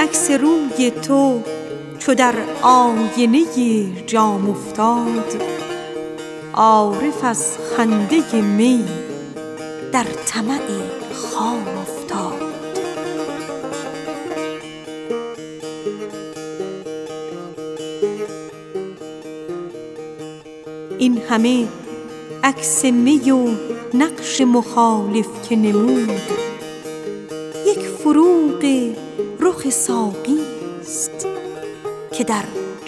عکس روی تو چو در آینه جام افتاد عارف از خنده می در طمع خام افتاد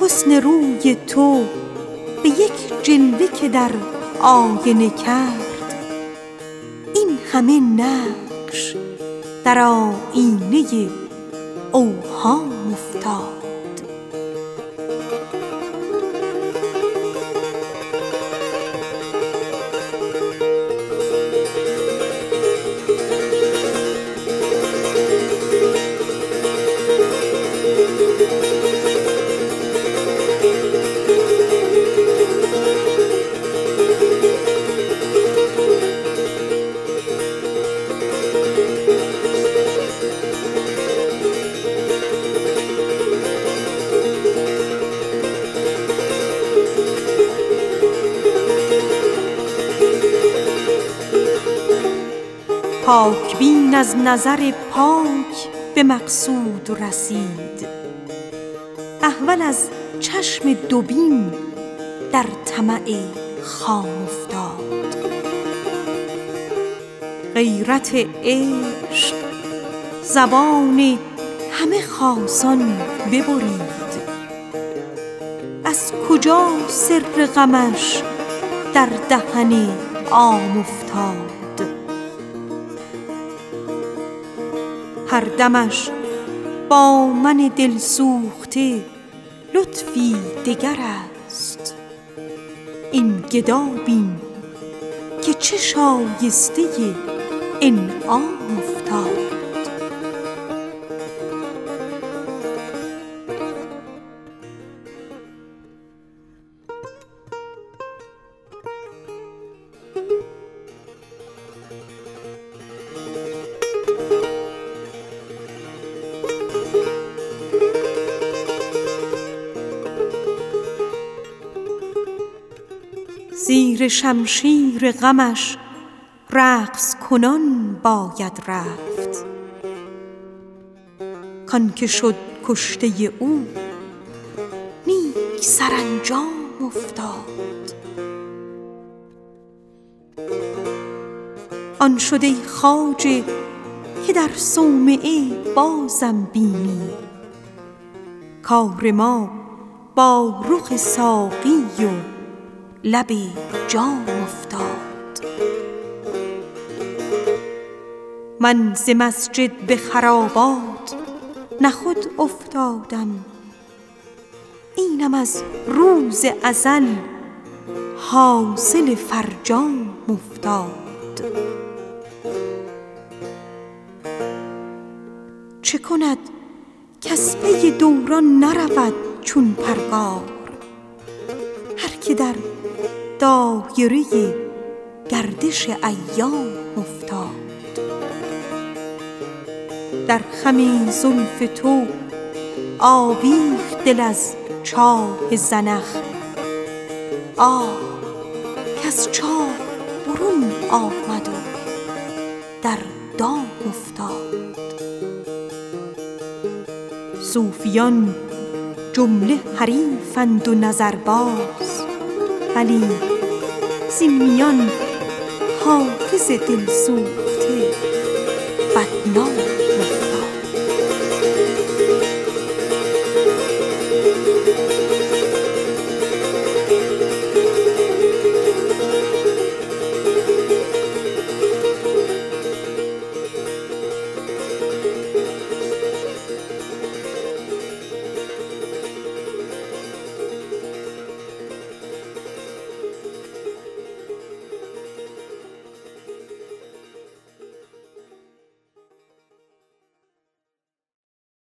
حسن روی تو به یک جلوه که در آینه کرد این همه نقش در آیینه اوهام افتاد این همه عکس می و نقش نگارین که نمود یک فروغ رخ ساقی ست که در جام افتاد غیرت عشق زبان همه خاصان ببرید کز کجا سر غمش در دهن عام افتاد من ز مسجد به خرابات نه خود افتادم اینم از عهد ازل حاصل فرجام افتاد چه کند کز پی دوران نرود چون پرگار هر که در دایره گردش ایام افتاد در خم زلف تو آویخت دل از چاه زنخ آه کز چاه برون آمد و در دام افتاد آن شد ای خواجه که در صومعه بازم بینی کار ما با رخ ساقی و لب جام افتاد زیر شمشیر غمش رقص کنان باید رفت کـ آن که شد کشته او نیک سرانجام افتاد هر دمش با من دل سوخته لطفی دگر است این گدا بین که چه شایسته انعام افتاد صوفیان جمله حریفند و نظرباز ولی زین میان حافظ دل سوخته بدنام افتاد